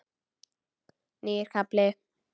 Nýr kafli.